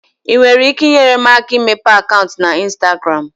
ị nwere ike inyere m aka imepe akaụntụ na ịnstagram?